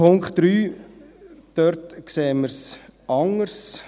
Beim Punkt 3 sehen wir es anders.